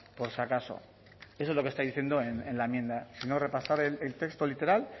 por si acaso eso es lo que está diciendo en la enmienda si no repasad el texto literal